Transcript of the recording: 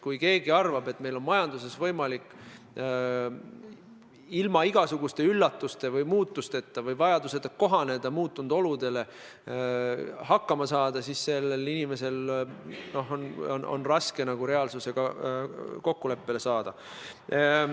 Kui keegi arvab, et meil on majanduses võimalik hakkama saada ilma igasuguste üllatuste või muutusteta või vajaduseta muutunud oludega kohaneda, siis tal on raske reaalsusega silmitsi seista.